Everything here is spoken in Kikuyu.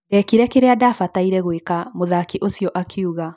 Ndekire kĩrĩa ndabataire gwĩka’’ mũthaki ũcio akiuga